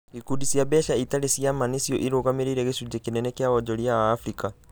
Ikundi cia mbeca itarĩ cia ma nĩcio irũgamĩrĩire gĩcunjĩ kĩnene kĩa wonjoria wa Afrika.